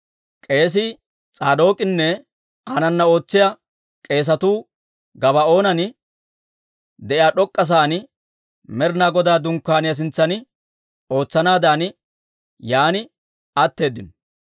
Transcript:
K'eesii S'aadook'inne aanana ootsiyaa k'eesatuu Gabaa'oonan de'iyaa d'ok'k'a sa'aan, Med'inaa Godaa Dunkkaaniyaa sintsan ootsanaadan yaan atteeddino.